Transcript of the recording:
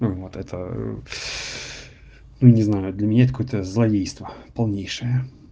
вот это не знаю для меня это какое-то злодейство полнейшее